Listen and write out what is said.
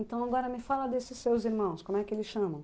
Então agora me fala desses seus irmãos, como é que eles chamam?